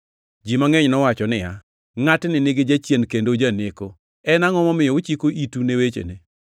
Ji mangʼeny nowacho niya, “Ngʼatni nigi jachien kendo ojaneko, en angʼo momiyo uchiko itu ni wechene?”